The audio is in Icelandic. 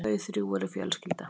Þau þrjú eru fjölskylda.